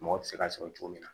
Mɔgɔ bɛ se ka sɔrɔ cogo min na